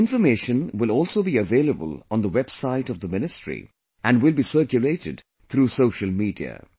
This information will also be available on the website of the ministry, and will be circulated through social media